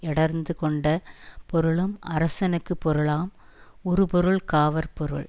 யடர்த்துக்கொண்ட பொருளும் அரசனுக்குப் பொருளாம் உறுபொருள் காவற் பொருள்